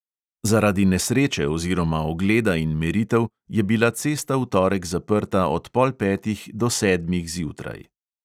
Zaradi nesreče oziroma ogleda in meritev je bila cesta v torek zaprta od pol petih do sedmih zjutraj.